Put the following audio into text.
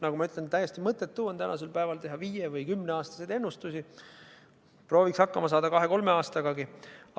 Nagu ma ütlesin, on täiesti mõttetu teha tänasel päeval viie- või kümneaastaseid ennustusi, prooviks hakkama saada kahe-kolme aastagagi.